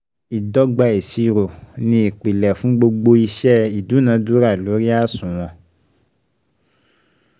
Ìdọ́gba ìṣirò ni ìpìlè fún gbogbo iṣẹ́ ìdúnadúrà lórí àṣùwọ̀n